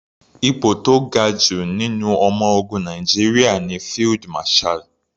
Ipò tó ga jù nínú ọmọ ogun Nàìjíríà ní Field Marshall.